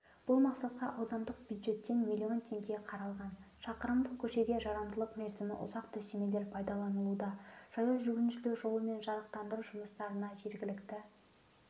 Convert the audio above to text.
бұл мақсатқа аудандық бюджеттен миллион теңге қаралған шақырымдық көшеге жарамдылық мерзімі ұзақ төсемелер пайдаланылуда жаяу жүргіншілер жолы мен жарықтандыру жұмыстарына жергілікті